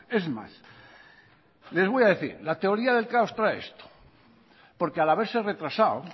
es más les voy a decir la teoría del caos trae esto porque al haberse retrasado